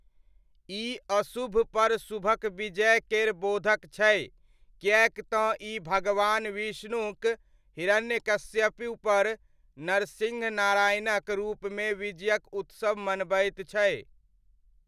ई अशुभपर शुभक विजय केर बोधक छै, किएक तँ ई भगवान विष्णुक हिरण्यकशिपुपर नरसिंह नारायणक रूपमे विजयक उत्सव मनबैत छै।